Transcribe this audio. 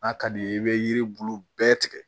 N'a ka d'i ye i bɛ yiri bulu bɛɛ tigɛ